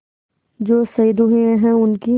जो शहीद हुए हैं उनकी